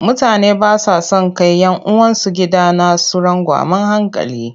Mutane ba sa son kai 'yan uwansu gidanasu rangwamen hankali.